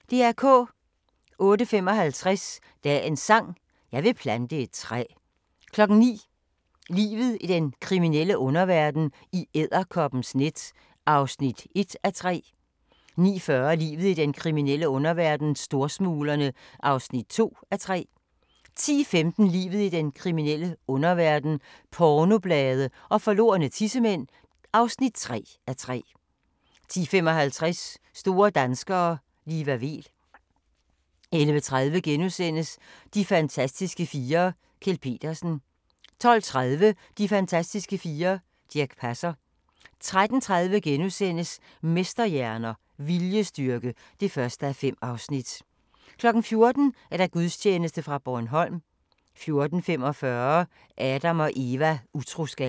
08:55: Dagens sang: Jeg vil plante et træ 09:00: Livet i den kriminelle underverden - i edderkoppens net (1:3) 09:40: Livet i den kriminelle underverden - Storsmuglerne (2:3) 10:15: Livet i den kriminelle underverden - pornoblade og forlorne tissemænd (3:3) 10:55: Store danskere - Liva Weel 11:30: De fantastiske fire: Kjeld Petersen * 12:30: De fantastiske fire: Dirch Passer 13:30: Mesterhjerner - viljestyrke (1:5)* 14:00: Gudstjeneste fra Bornholm 14:45: Adam & Eva: Utroskab